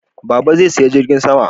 Baba zai saya jirgin sama